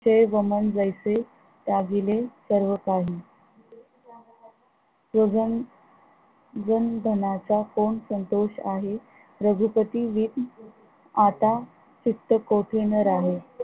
चे गमन जैसे त्यागिले सर्व काही जनधनाचा कोण संतोष आहे, रघुपति वीर आता सुत्त चित्त कोठी न राहे